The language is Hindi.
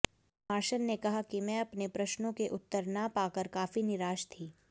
मार्शन ने कहा कि मैं अपने प्रश्नों के उत्तर न पाकर काफ़ी निराश थी